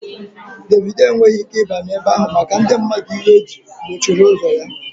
Dévido enweghị ike ịbanye ebe ahụ maka na ndị mmadụ iwe ji gbochiri ụzọ ya